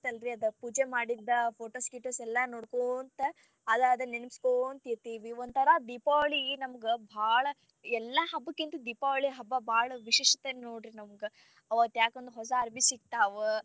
ಅಲ್ರಿ ಅದ ಪೂಜೆ ಮಾಡಿದ photos ಗಿಟೊಸ ಎಲ್ಲಾ ನೋಡ್ಕೊಂತ ಅದ ಅದ ನೆನಸ್ಕೊಂತ ಇರ್ತಿವಿ ಒಂತರ ದೀಪಾವಳಿ ನಮಗ ಬಾಳ ಎಲ್ಲಾ ಹಬ್ಬಕ್ಕಿಂತ ದೀಪಾವಳಿ ಹಬ್ಬ ಬಾಳ ವಿಶಿಷ್ಟತೆ ನೋಡ್ರಿ ನಮಗ, ಅವತ್ತ ಯಾಕಂದ್ರ ಹೊಸಾ ಅರಬಿ ಸಿಗ್ತಾವ.